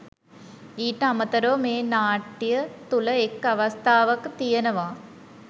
ඊට අමතරව මේ නාට්‍ය තුළ එක් අවස්ථාවක තියෙනවා